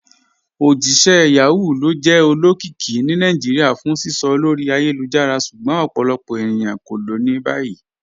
Ojíṣẹ̀ Yahoo lo jẹ́ olókìíkí ní Naijíríà fún sísọ̀ lórí ayélujára, ṣùgbọ́n ọ̀pọ̀lọpọ̀ ènìyàn ko ló ni báyì."